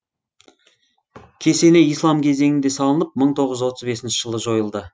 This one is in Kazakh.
кесене ислам кезеңінде салынып мың тоғыз жүз отыз бесінші жылы жойылды